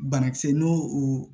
Banakisɛ n'o o